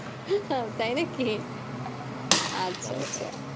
তাই নাকি? আচ্ছা আচ্ছা আচ্ছা.